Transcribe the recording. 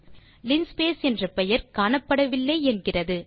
linspace என்ற பெயர் காணப்படவில்லை என்கிறது